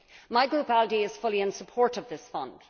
My group, ALDE, is fully in support of this fund.